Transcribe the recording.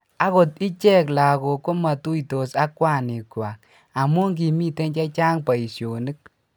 akot ichek lagok ko matuisot ak kwanikwak amu kimito che chang' boisionik